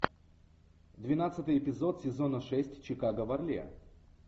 двенадцатый эпизод сезона шесть чикаго в орле